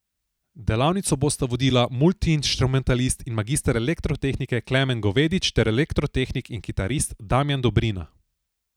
Delavnico bosta vodila multiinštrumentalist in magister elektrotehnike Klemen Govedič ter elektrotehnik in kitarist Damjan Dobrina.